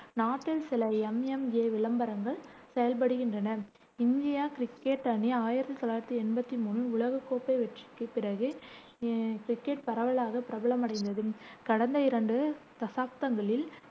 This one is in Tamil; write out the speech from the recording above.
நாட்டில் சில MMA விளம்பரங்கள் செயல்படுகின்றன இந்திய கிரிக்கெட் அணி ஆயிரத்தி தொள்ளாயிரத்தி எண்பத்தி மூணில் உலகக் கோப்பை வெற்றிக்குப் பிறகு அஹ் கிரிக்கெட் பரவலாக பிரபலமடைந்தது கடந்த இரண்டு தசாப்தங்களில்,